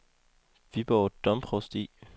Viborg Domprovsti